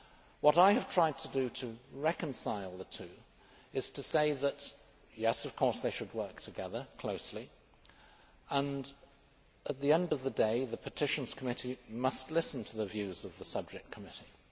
What I have tried to do to reconcile the two is to say that yes, of course, they should work closely together and, at the end of the day, the Petitions Committee must listen to the views of the subject committee.